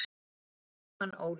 Þinn Jóhann Óli.